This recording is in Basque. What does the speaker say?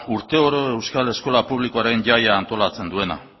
urteoro euskal eskola publikoaren jaia antolatzen duena